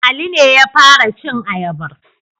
Ali ne ya fara cin ayabar.